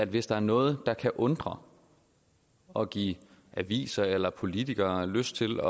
hvis der er noget der kan undre og give aviser eller politikere lyst til